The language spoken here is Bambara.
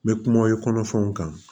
N bɛ kumaw ye kɔnɔfɛnw kan